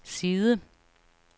side